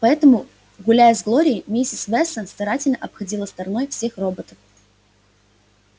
поэтому гуляя с глорией миссис вестон старательно обходила стороной всех роботов